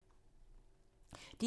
DR1